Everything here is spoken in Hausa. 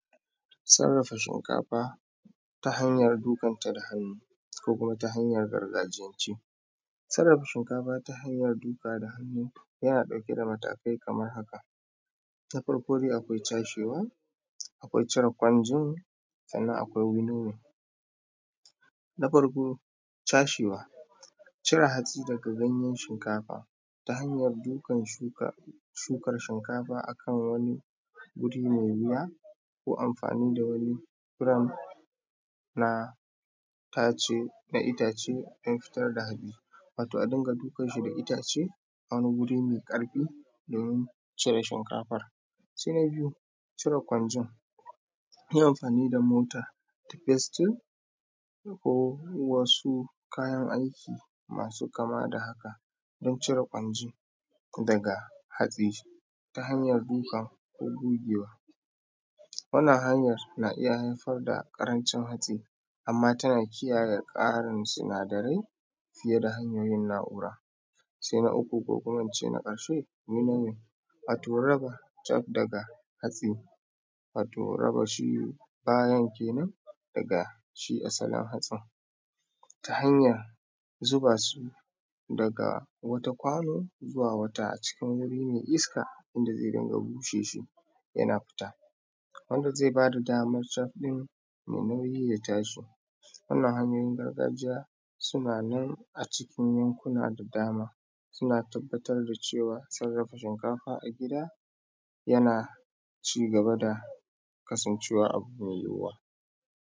Sarrafa shinkafa ta hanyan dukanta da hannu ko kuma ta hanyan gargajiyance. Sarrafa shinkafa ta hanyan bugawa da hannu yanada matakai kamar haka: ta farko dai akwai cashew, akwai cire kwanzo daga ganyen shuka ta hanyan buge shukan shinkafa akan wani abu me ƙarfi ko amfani da wani irirn na itace don fitar da shi wato a dinga dukar shi da itace wani wuri me ƙarfi domi cire shinkafan. Se na biyu cire gwanci, yi amfani da mota ko festin ko wasu kayan aiki masu kama da haka don cire hatsi da hanyan duka ko gogewa, wannan hanyan na iya haifar da ƙarancin hatsi, amma tana kiyaye tsarin sinadarai ta hanyoyin na’ura se na uku ko kuma na karshe, wato raba wato rabashi bayan kenan daga shi asalin hatsi, ta hanyar zuba su daga wat kwano zuwa wata a cikin wurin mai iska wanda zai busar da ita yana fita, wand azai bada daman domin yaa fita. Wannan hanyayoyin garagjiya suna nan a cikin yankuna da dama suna tabbatar da cewan sarrafar da shimkafa a gida yana kasancewa abu mai yiwuwa.